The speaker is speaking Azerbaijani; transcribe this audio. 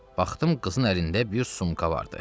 Baxdım, qızın əlində bir sumka vardı.